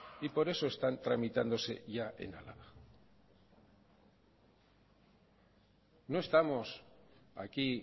y por eso están tramitándose ya en álava no estamos aquí